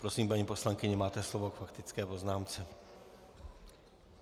Prosím, paní poslankyně, máte slovo k faktické poznámce.